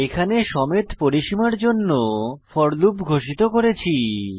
এখানে সমেত পরিসীমার জন্য ফোর লুপ ঘোষিত করেছি